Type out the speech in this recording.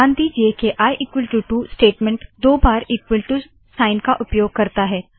ध्यान दीजिए के i2 स्टेटमेंट दो बार इकवल टू साइन का उपयोग करता है